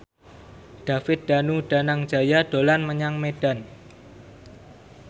David Danu Danangjaya dolan menyang Medan